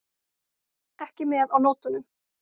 Ekki með á nótunum.